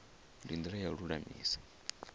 ndi ndila ya u lulamisa